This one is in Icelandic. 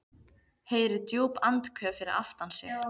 Heyrir djúp andköf fyrir aftan sig.